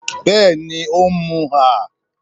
Bẹ́ẹ̀ni, ó ń mú ah